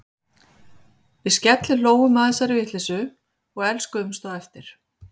Við skellihlógum að þessari vitleysu og elskuðumst á eftir.